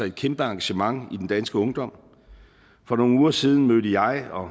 et kæmpe engagement i den danske ungdom for nogle uger siden mødte jeg og